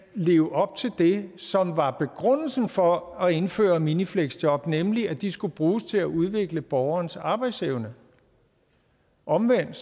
leve op til det som var begrundelsen for at indføre minifleksjob nemlig at de skulle bruges til at udvikle borgerens arbejdsevne omvendt